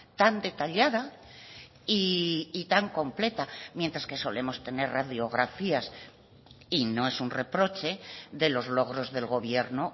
tan detallada y tan completa mientras que solemos tener radiografías y no es un reproche de los logros del gobierno